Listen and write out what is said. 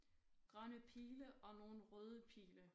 Grønne pile og nogle røde pile